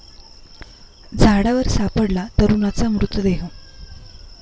झाडावर सापडला तरुणाचा मृतदेह